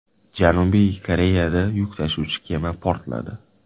Janubiy Koreyada yuk tashuvchi kema portladi .